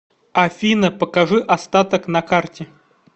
афина покажи остаток на карте